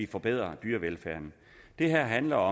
forbedrer dyrevelfærden det her handler